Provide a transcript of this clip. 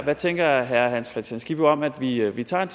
hvad tænker herre hans kristian skibby om at vi at vi tager en